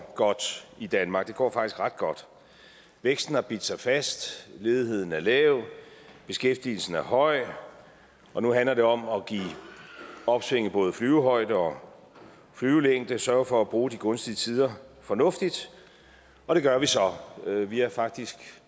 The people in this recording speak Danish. godt i danmark det går faktisk ret godt væksten har bidt sig fast ledigheden er lav beskæftigelsen er høj og nu handler det om at give opsvinget både flyvehøjde og flyvelængde sørge for at bruge de gunstige tider fornuftigt og det gør vi så vi har faktisk